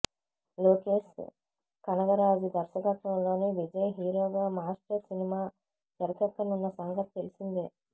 లోకేష్ కనగరాజు దర్శకత్వంలో విజయ్ హీరోగా Master cinema తెరకెక్కుతున్న సంగతి తెలిసిందే